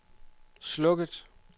slukket